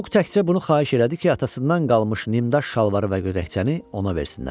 Muk təkcə bunu xahiş elədi ki, atasından qalmış nimdaş şalvarı və gödəkçəni ona versinlər.